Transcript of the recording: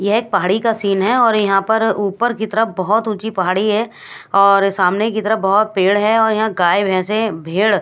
ये एक पहाड़ी का सीन है और यहा पर ऊपर की तरफ बोहोत उची पहाड़ी है और सामने की तरफ बोहोत पेड़ है और यहा गाय बेंस है भेड़--